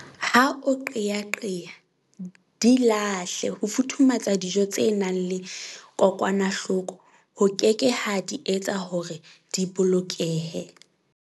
Ha o qeaqea, di lahle ho futhumetsa dijo tse nang le kokwanahloko ho keke ha di etsa hore di bolokehe!